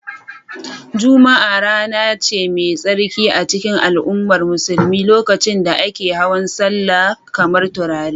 Juma'a rana ce mai tsarki a cikin al'ummar musulmi lokacin da ake hawan sallah kamar turare